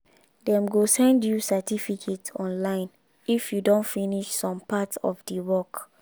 dem go send you certificate online if you don finish some part of the work